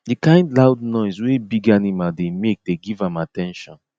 the kind loud noise wey big animal dey make dey give am at ten tion